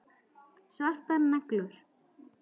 Svartar neglur.